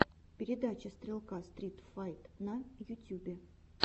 передача стрелка стрит файт на ютюбе